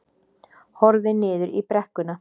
Horfði niður í brekkuna.